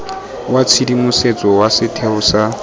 wa tshedimosetso wa setheo sa